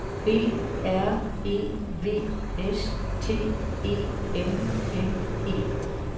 B R E V S T E M M E